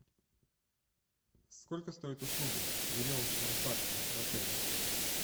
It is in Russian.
сколько стоят услуги веревочного парка в отеле